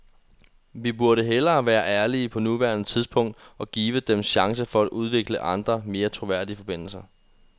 Vi burde hellere være ærlige på nuværende tidspunkt og give dem chancen for at udvikle andre, mere troværdige forbindelser.